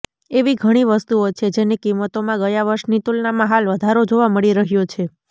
એવી ઘણી વસ્તુઓ છે જેની કિંમતોમાં ગયા વર્ષની તુલનામાં હાલ વધારો જોવા મળી રહ્યો છે